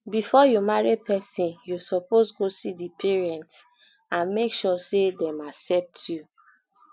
before you marry persin you suppose go see di parents and make sure say dem accept you